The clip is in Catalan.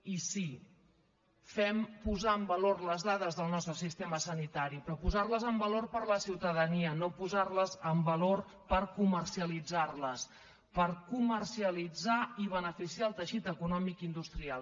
i sí fem posar en valor les dades del nostre sistema sanitari però posarles en valor per a la ciutadania no posarles en valor per comercialitzarles per comercialitzarles i beneficiar el teixit econòmic i industrial